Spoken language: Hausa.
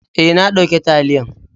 Eh, na dauka taliyan.